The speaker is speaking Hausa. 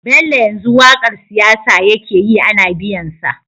Bello yanzu waƙar siyasa yake yi Ana biyan sa